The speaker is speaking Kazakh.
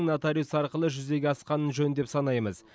нотариус арқылы арқылы жүзеге асқаны жөн деп санаймыз